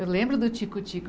Eu lembro do tico-tico.